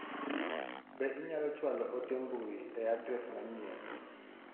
Be inyalo chwalo ote mbui e adres manyien ?